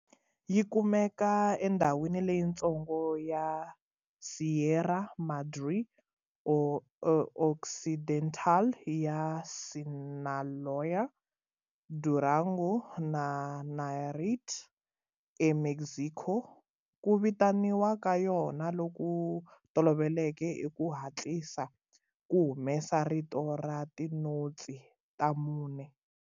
Yi kumeka endhawini leyitsongo ya Sierra Madre Occidental ya Sinaloa, Durango na Nayarit eMexico. Ku vitaniwa ka yona loku tolovelekeke i ku hatlisa, ku humesa rito ra tinotsi ta mune.